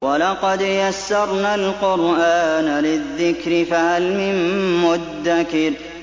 وَلَقَدْ يَسَّرْنَا الْقُرْآنَ لِلذِّكْرِ فَهَلْ مِن مُّدَّكِرٍ